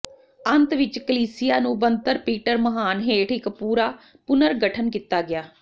ਅੰਤ ਵਿੱਚ ਕਲੀਸਿਯਾ ਨੂੰ ਬਣਤਰ ਪੀਟਰ ਮਹਾਨ ਹੇਠ ਇੱਕ ਪੂਰਾ ਪੁਨਰਗਠਨ ਕੀਤਾ ਗਿਆ